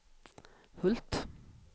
Hult